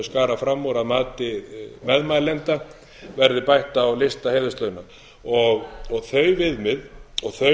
skarað fram úr að mati meðmælenda verði bætt á lista heiðurslauna þau viðmið og þau meðmæli og